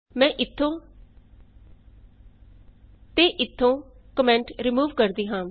ਮੈਂ ਇਥੋਂ ਤੇ ਇਥੋਂ ਕੋਮੈਂਟ ਰਿਮੂਵ ਕਰਦੀ ਹਾਂ